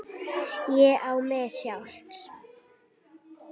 Ég á mig sjálf.